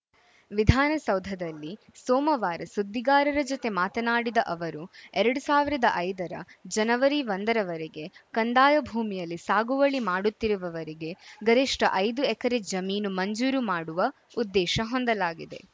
ವಿಧಾನಸೌಧದಲ್ಲಿ ಸೋಮವಾರ ಸುದ್ದಿಗಾರರ ಜತೆ ಮಾತನಾಡಿದ ಅವರು ಎರಡು ಸಾವಿರದ ಐದರ ಜನವರಿ ಒಂದರವರೆಗೆ ಕಂದಾಯ ಭೂಮಿಯಲ್ಲಿ ಸಾಗುವಳಿ ಮಾಡುತ್ತಿರುವವರಿಗೆ ಗರಿಷ್ಠ ಐದು ಎಕರೆ ಜಮೀನು ಮಂಜೂರು ಮಾಡುವ ಉದ್ದೇಶ ಹೊಂದಲಾಗಿದೆ